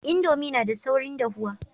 Indomie na da saurin dahuwa